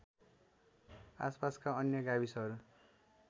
आसपासका अन्य गाविसहरू